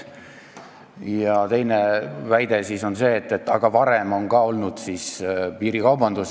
Teine väide on see, et ka varem on olnud piirikaubandust.